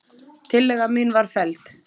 Tillaga mín var felld.